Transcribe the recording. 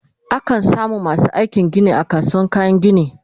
a kan samu masu aikin Gini a kasuwar kayan gini